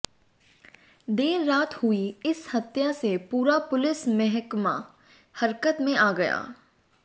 देर रात हुई इस हत्या से पूरा पुलिस महकमा हरकत में आ गया